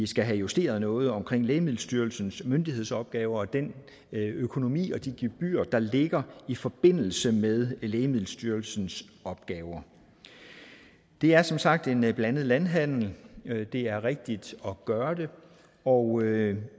skal have justeret noget omkring lægemiddelstyrelsens myndighedsopgaver og den økonomi og de gebyrer der ligger i forbindelse med lægemiddelstyrelsens opgaver det er som sagt en blandet landhandel det er rigtigt at gøre det og